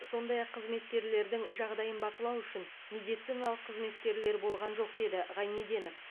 сондай ақ қызметкерлердің жағдайын бақылау үшін медициналық қызметкерлер болған жоқ деді ғайнеденов